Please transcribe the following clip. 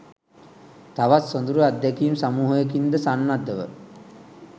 තවත් සොදුරු අත්දැකීම් සමූහයකින්ද සන්නද්ධව